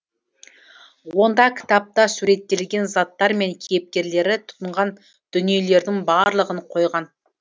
онда кітапта суреттелген заттар мен кейіпкерлері тұтынған дүниелердің барлығын қойған